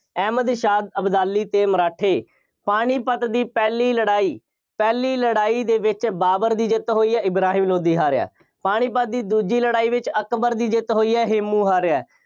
ਅਹਿਮਦ ਸ਼ਾਹ ਅਬਦਾਲੀ ਅਤੇ ਮਰਾਠੇ। ਪਾਣੀਪਤ ਦੀ ਪਹਿਲੀ ਲੜਾਈ, ਪਹਿਲੀ ਲੜਾਈ ਦੇ ਵਿੱਚ ਬਾਬਰ ਦੀ ਜਿੱਤ ਹੋਈ ਹੈ। ਇਬਰਾਹਿਮ ਲੋਧੀ ਹਾਰਿਆ। ਪਾਣੀਪਤ ਦੀ ਦੂਜੀ ਲੜਾਈ ਵਿੱਚ ਅਕਬਰ ਦੀ ਜਿੱਤ ਹੋਈ ਹੈ। ਹੇਮੂੰ ਹਾਰਿਆ।